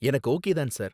எனக்கு ஓகே தான் சார்